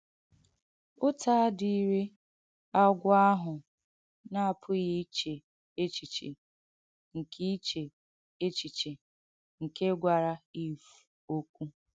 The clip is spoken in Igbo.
Ụ̀tà adìrìghị́ agwọ̀ àhụ̄ na-apughì ichè echichè nke ichè echichè nke gwàrà Ìv òkwù.